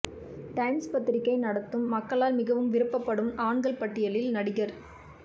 times பத்திரிகை நடத்தும் மக்களால் மிகவும் விரும்பப்படும் ஆண்கள் பட்டியலில் நடிகர்